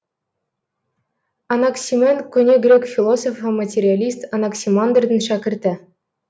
анаксимен көне грек философы материалист анаксимандрдің шәкірті